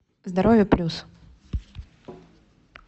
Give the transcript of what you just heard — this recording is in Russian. здоровье плюс